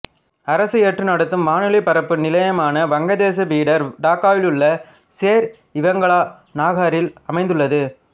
அரசு ஏற்று நடத்தும் வானொலிபரப்பு நிலையமான வங்கதேச பீடர் டாக்காவிலுள்ள சேர்இவங்காள நாகரில் அமைந்துள்ளது